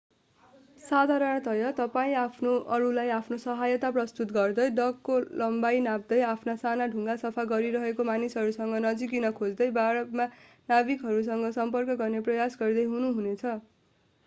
साधारणतया तपाईं अरूलाई आफ्नो सहायता प्रस्तुत गर्दै डकको लम्बाई नाप्दै आफ्ना साना डुङ्गा सफा गरिरहेका मानिसहरूसँग नजिकिन खोज्दै बारमा नाविकहरूसँग सम्पर्क गर्ने प्रयास गर्दै हुनु हुने छ